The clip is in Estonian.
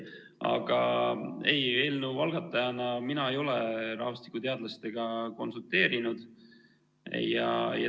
Aga ei, eelnõu algatajana mina ei ole rahvastikuteadlastega konsulteerinud.